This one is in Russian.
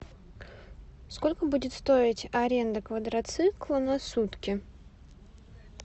сколько будет стоить аренда квадроцикла на сутки